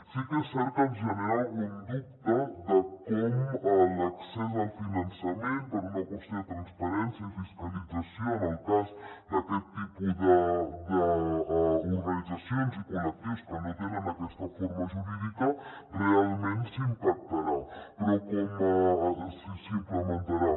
sí que és cert que ens genera algun dubte de com l’accés al finançament per una qüestió de transparència i fiscalització en el cas d’aquest tipus d’organitzacions i col·lectius que no tenen aquesta forma jurídica realment s’implementarà